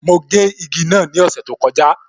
Mo gé igi náà ni ọ̀sẹ̀ tó kọjá